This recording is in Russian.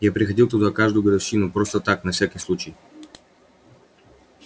я приходил туда в каждую годовщину просто так на всякий случай